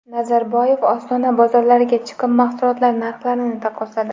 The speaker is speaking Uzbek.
Nazarboyev Ostona bozorlariga chiqib, mahsulotlar narxlarini taqqosladi.